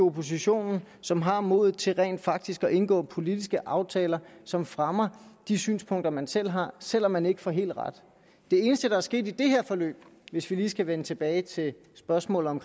oppositionen som har modet til rent faktisk at indgå politiske aftaler som fremmer de synspunkter man selv har selv om man ikke får helt ret det eneste der er sket i det her forløb hvis vi lige skal vende tilbage til spørgsmålet om